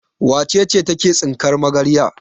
Wace ce take tsinkar magarya?